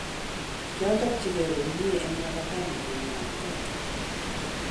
Kiachopkei komyee eng labateeni, komwa Kitata